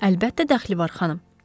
Əlbəttə dəxli var, xanım.